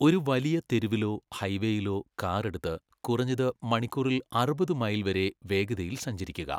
ഒരു വലിയ തെരുവിലോ ഹൈവേയിലോ കാർ എടുത്ത് കുറഞ്ഞത് മണിക്കൂറിൽ അറുപത് മൈൽ വരെ വേഗതയിൽ സഞ്ചരിക്കുക.